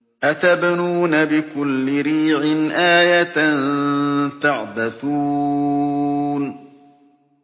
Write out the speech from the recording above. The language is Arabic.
أَتَبْنُونَ بِكُلِّ رِيعٍ آيَةً تَعْبَثُونَ